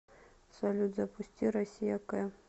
салют запусти россия к